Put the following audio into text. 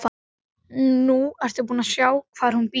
Nú ertu búin að sjá hvar hún býr.